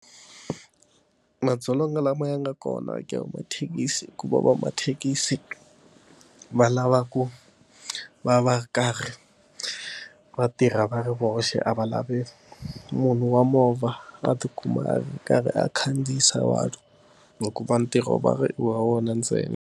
Madzolonga lama ya nga kona eka mathekisi ku va va mathekisi va lava ku va va karhi va tirha va ri voxe, a va lavi munhu wa movha a tikuma a ri karhi a khandziyisa vanhu hikuva va ri ntirho va ri wa vona ntsena.